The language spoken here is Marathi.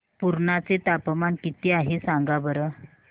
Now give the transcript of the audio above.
पुर्णा चे तापमान किती आहे सांगा बरं